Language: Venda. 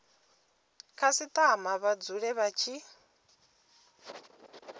khasitama vha dzule vha tshi